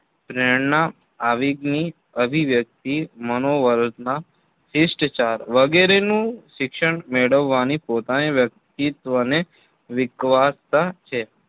પ્રેરણા આવીગ ની અભિવ્યક્તિ મનોવરતના શિષ્ટાચાર વગેરે નું શિક્ષણ મેળવીને પોતાની વ્યક્તિત્વને વીકવસ્તા છે